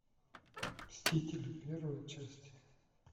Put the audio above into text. мстители первая часть